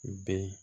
Bɛɛ